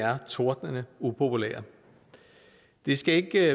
er tordnende upopulære det skal ikke